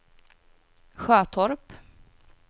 Sjötorp